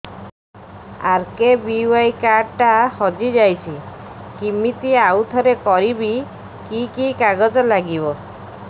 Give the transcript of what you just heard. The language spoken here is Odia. ଆର୍.କେ.ବି.ୱାଇ କାର୍ଡ ଟା ହଜିଯାଇଛି କିମିତି ଆଉଥରେ କରିବି କି କି କାଗଜ ଲାଗିବ